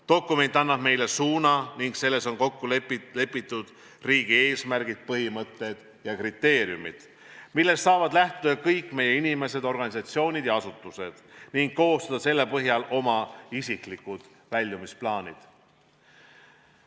Dokument annab meile suuna ning selles on kokku lepitud riigi eesmärgid, põhimõtted ja kriteeriumid, millest saavad lähtuda kõik meie inimesed, organisatsioonid ja asutused ning koostada selle põhjal oma isiklikud väljumisplaanid.